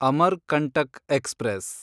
Amarkantak express